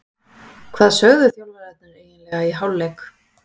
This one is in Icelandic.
Hvað sögðu þjálfararnir eiginlega í hálfleik?